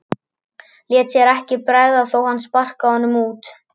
Léti sér ekki bregða þó að hann sparkaði honum út.